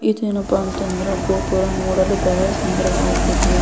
ಇದೇನಪ್ಪ ಅಂತ ಅಂದ್ರೆ ಗೋಪುರ ನೋಡಲು ಬಹಳ ಸುಂದರವಾಗಿದೆ.